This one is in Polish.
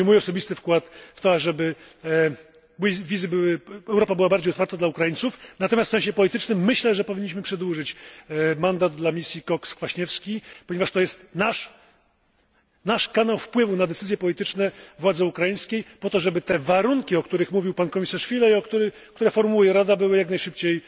To będzie mój osobisty wkład w to, aby Europa była bardziej otwarta dla Ukraińców, natomiast w sensie politycznym myślę, że powinniśmy przedłużyć mandat dla misji Cox Kwaśniewski, ponieważ to jest nasz kanał wpływu na decyzje polityczne władzy ukraińskiej, po to, żeby te warunki, o których mówił pan komisarz Füle i które formułuje Rada, były jak najszybciej